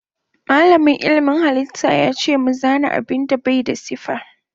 Malamin ilmin halitta yace mu zana abinda Bai da siffa.